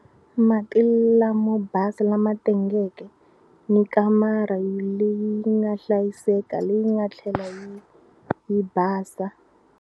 Mati lamo basa lama tengeke ni kamara leyi nga hlayiseka leyi nga tlhela yi yi basa.